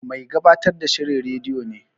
Mai gabatar da shirin rediyo ne.